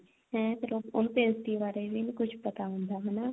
ਤੇ ਫਿਰ ਉਹ ਨਾ ਉਹਨੂੰ pastry ਬਾਰੇ ਵੀ ਨਹੀਂ ਕੁੱਝ ਪਤਾ ਹੁੰਦਾ ਹਨਾ